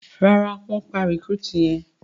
Ràrá wón pá recruit yén.